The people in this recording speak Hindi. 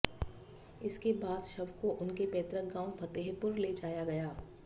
इसके बाद शव को उनके पैतृक गांव फतेहपुर ले जाया गया